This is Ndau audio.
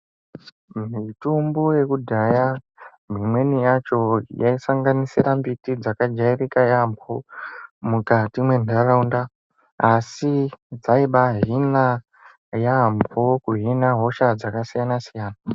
Mitombo yekudhaya imweni yacho yaisanganisira mbiti dzakajairika yambo mukatengesera mwendaraunda asi dzaibahina yambo kuhina hosha dzakasiyana siyana.